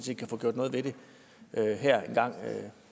vi kan få gjort noget ved det her engang